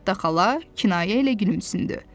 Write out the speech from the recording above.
Nettə xala kinayə ilə gülümsündü.